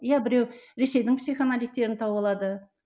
иә біреу ресейдің психоаналитиктерін тауып алады